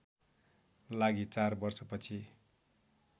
लागि चार वर्षपछि